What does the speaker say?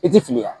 I ti fili yan